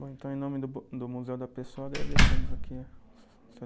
Bom, então, em nome do bo, do Museu da Pessoa, agradecemos aqui o seu